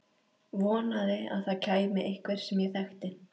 Vonaði að það kæmi einhver sem ég þekkti.